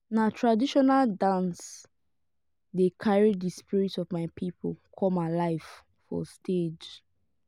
na traditional dances dey carry the spirit of my people come alive for stage.